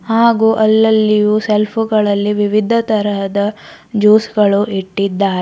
ಹಾಗು ಅಲ್ಲಲ್ಲಿಯು ಸೆಲ್ಪು ಗಳಲ್ಲಿ ವಿವಿಧ ತರಹದ ಜ್ಯೂಸ ಗಳು ಇಟ್ಟಿದ್ದಾರೆ.